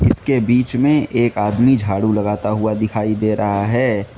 इसके बीच में एक आदमी झाड़ू लगाता हुआ दिखाई दे रहा है।